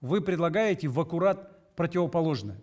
вы предлагаете в аккурат противоположное